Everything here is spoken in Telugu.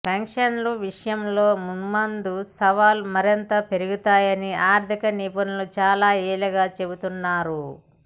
పెన్షన్ల విషయంలో మున్ముందు సవాళ్లు మరింత పెరుగుతాయని ఆర్థిక నిపుణులు చాలా ఏళ్లుగా చెబుతున్నారు